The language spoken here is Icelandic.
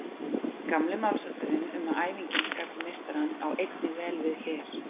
Gamli málshátturinn um að æfingin skapi meistarann á einnig vel við hér.